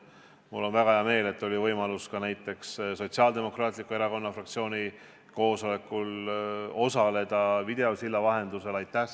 Mul on väga hea meel, et oli võimalus ka näiteks Sotsiaaldemokraatliku Erakonna fraktsiooni koosolekul videosilla vahendusel osaleda.